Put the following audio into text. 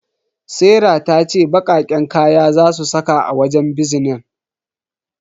Serah tace baqaqqen kaya zasu saka a wajen bizinan.